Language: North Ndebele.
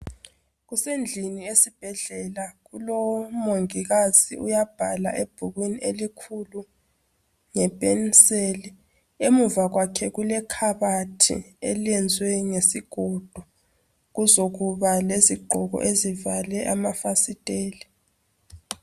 Kusendlini esibhedlela. Kulomongikazi uyabhala ebhukwini elikhulu ngepenseli. Emuva kwakhe kulekhabathi eliyenzwe ngesigodo kuzokuba lezigqoko ezivale amafasiteli.